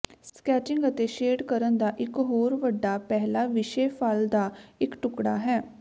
sketching ਅਤੇ shade ਕਰਨ ਦਾ ਇਕ ਹੋਰ ਵੱਡਾ ਪਹਿਲਾ ਵਿਸ਼ੇ ਫਲ ਦਾ ਇਕ ਟੁਕੜਾ ਹੈ